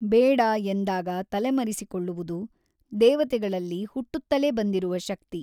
ಬೇಡ ಎಂದಾಗ ತಲೆಮರೆಸಿಕೊಳ್ಳುವುದು ದೇವತೆಗಳಲ್ಲಿ ಹುಟ್ಟುತ್ತಲೆ ಬಂದಿರುವ ಶಕ್ತಿ.